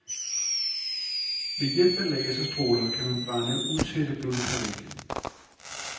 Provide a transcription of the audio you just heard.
Ved hjælp af laserstråler kan man brænde utætte blodkar væk.